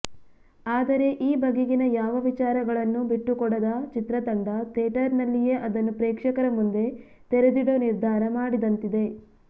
ಆದರೆ ಈ ಬಗೆಗಿನ ಯಾವ ವಿಚಾರಗಳನ್ನೂ ಬಿಟ್ಟುಕೊಡದ ಚಿತ್ರ ತಂಡ ಥೇಟರಿನಲ್ಲಿಯೇ ಅದನ್ನು ಪ್ರೇಕ್ಷಕರ ಮುಂದೆ ತೆರೆದಿಡೋ ನಿರ್ಧಾರ ಮಾಡಿದಂತಿದೆ